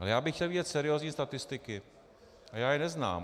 Ale já bych chtěl vidět seriózní statistiky a já je neznám.